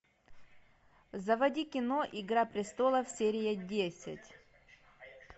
заводи кино игра престолов серия десять